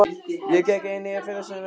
Ég gekk einnig í félagasamtök á staðnum.